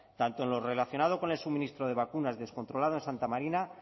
tanto en lo relacionado con el suministro de vacunas descontrolado en santa marina